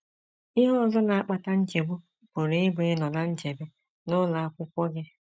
Ihe ọzọ na - akpata nchegbu pụrụ ịbụ ịnọ ná nchebe n’ụlọ akwụkwọ gị.